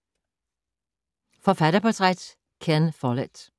Forfatterportræt: Ken Follett